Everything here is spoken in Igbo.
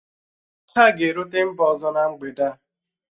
Ha ga-erute mba ọzọ na mgbede a